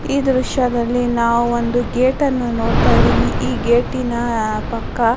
ಈ ದೃಶ್ಯದಲ್ಲಿ ನಾವು ಒಂದು ಗೇಟ್ ಅನ್ನು ನೋಡುತ ಇದ್ದಿವಿ ಈ ಗೇಟಿನ ಪಕ್ಕ --